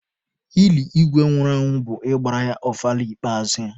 Ili Igwe nwụrụ anwụ bụ ịgbara ya ọfala ikpeazụ ya.